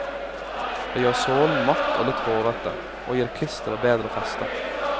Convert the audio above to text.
Det gjør sålen matt og litt hårete, og gir klisteret bedre feste.